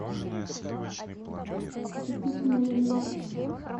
купить майонез